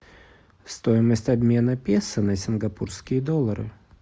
стоимость обмена песо на сингапурские доллары